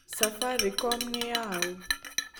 Safaricom nĩ ya ũ?